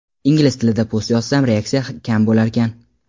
Ingliz tilida post yozsam reaksiya kam bo‘larkan.